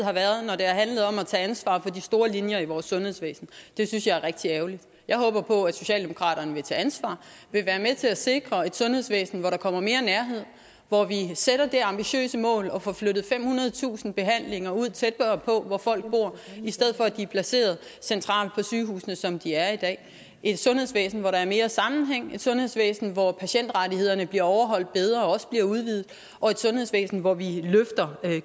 har været når det har handlet om at tage ansvar for de store linjer i vores sundhedsvæsen det synes jeg er rigtig ærgerligt jeg håber på at socialdemokratiet vil tage ansvar og til at sikre et sundhedsvæsen hvor der kommer mere nærhed hvor vi sætter det ambitiøse mål at få flyttet femhundredetusind behandlinger ud tættere på hvor folk bor i stedet for at de er placeret centralt på sygehusene sådan som de er i dag og et sundhedsvæsen hvor der er mere sammenhæng et sundhedsvæsen hvor patientrettighederne bliver overholdt bedre og også bliver udvidet og et sundhedsvæsen hvor vi løfter